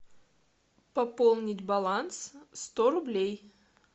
пополнить баланс сто рублей